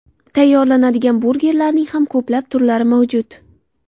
Tayyorlanadigan burgerlarning ham ko‘plab turlari mavjud.